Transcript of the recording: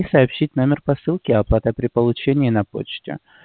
и сообщить номер посылки оплата при получении на почте